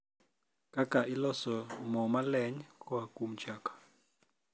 kaka iloso mo moleny koa kuom chak